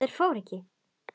Þær fóru ekki.